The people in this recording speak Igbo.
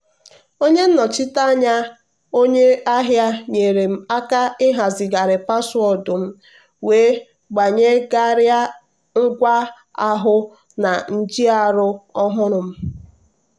onye nnochite anya onye ahịa nyeere m aka ịhazigharị paswọọdụ m wee gbanyegharịa ngwa ahụ na njiarụ ọhụrụ m. um